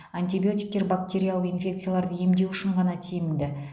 антибиотиктер бактериялық инфекцияларды емдеу үшін ғана тиімді